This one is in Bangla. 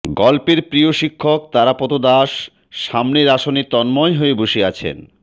গল্পের প্রিয় শিক্ষক তারাপদ দাস সামনের আসনে বসে তন্ময় হয়ে